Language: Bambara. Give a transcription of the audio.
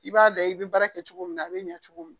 I b'a layɛ i bi baara kɛ cogo min na a be ɲɛ cogo min